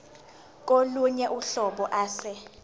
kolunye uhlobo ase